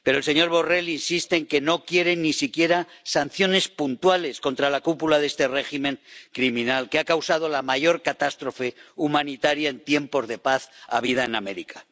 Pero el Señor Borrell insiste en que no quiere ni siquiera sanciones puntuales contra la cúpula de este régimen criminal, que ha causado la mayor catástrofe humanitaria en tiempos de paz en América.